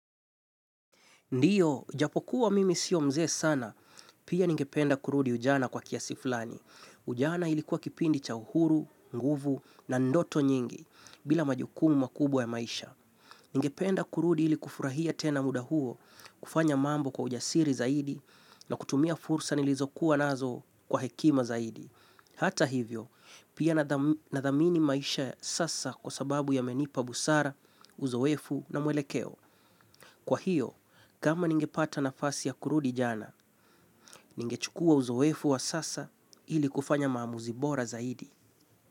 Ndiyo, japokuwa mimi sio mzee sana, pia ningependa kurudi ujana kwa kiasiflani. Ujana ilikuwa kipindi cha uhuru, nguvu na ndoto nyingi, bila majukumu makubwa ya maisha. Ningependa kurudi ilikufurahia tena muda huo, kufanya mambo kwa ujasiri zaidi na kutumia fursa nilizokuwa nazo kwa hekima zaidi. Hata hivyo, pia nadhamini maisha sasa kwa sababu yamenipa busara, uzowefu na mwelekeo. Kwa hiyo, kama ningepata nafasi ya kurudi jana, ningechukua uzowefu wa sasa ili kufanya maamuzi bora zaidi.